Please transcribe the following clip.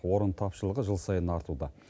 орын тапшылығы жыл сайын артуда